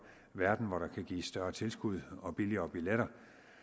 verden hvor der kan gives større tilskud og billigere billetter